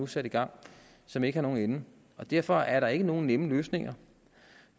sat i gang og som ikke har nogen ende derfor er der ikke nogen nemme løsninger